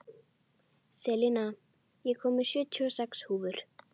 Selina, ég kom með sjötíu og sex húfur!